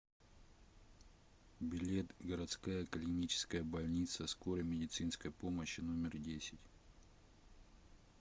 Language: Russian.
билет городская клиническая больница скорой медицинской помощи номер десять